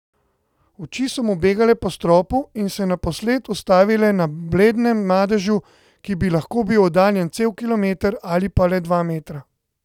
Oči so mu begale po stropu in se naposled ustavile na bledem madežu, ki bi lahko bil oddaljen cel kilometer ali pa le dva metra.